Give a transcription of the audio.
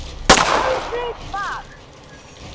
Aldrei svag!